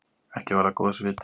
Ekki var það góðs viti.